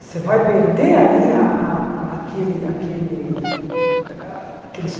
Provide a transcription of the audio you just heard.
Você vai perder ali a a aquele aquele a aquele